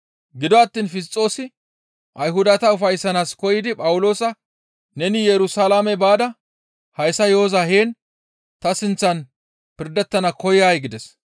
Gido attiin Fisxoosi Ayhudata ufayssanaas koyidi Phawuloosa, «Neni Yerusalaame baada hayssa yo7oza heen ta sinththan pirdettana koyay?» gides.